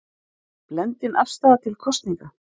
Blendin afstaða til kosninga